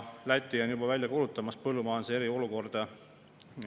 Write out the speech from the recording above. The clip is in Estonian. Läti on juba välja kuulutamas põllumajanduse eriolukorda.